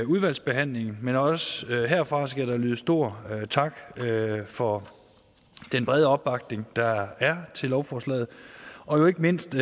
udvalgsbehandlingen men også herfra skal der lyde stor tak for den brede opbakning der er til lovforslaget og ikke mindst